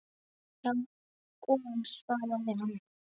Já, golan svaraði hann.